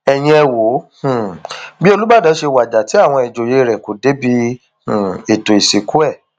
ẹyin ẹ wo um bí olùbàdàn ṣe wájà tí àwọn ìjòyè rẹ kò débi um ètò ìsìnkú ẹ